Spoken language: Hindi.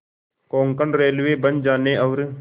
कोंकण रेलवे बन जाने और